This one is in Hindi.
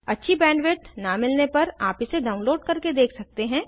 अच्छी बैंडविड्थ न मिलने पर आप इसे डाउनलोड करके देख सकते हैं